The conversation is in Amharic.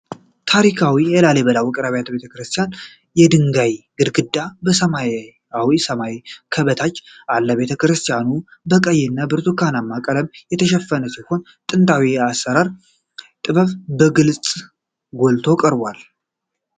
ታሪካዊ የላሊበላ ውቅር ቤተ ክርስቲያን የድንጋይ ግድግዳ ከሰማያዊ ሰማይ በታች አለ። ቤተ ክርስቲያኑ በቀይና ብርቱካናማ ቀለም የተሸፈነ ሲሆን፣ ጥንታዊ የአሠራር ጥበቡ በግልጽ ጎልቶ ቀርቧል።